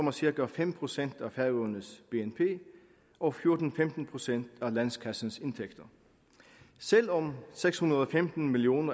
er cirka fem procent af færøernes bnp og fjorten til femten procent af landskassens indtægter selv om seks hundrede og femten million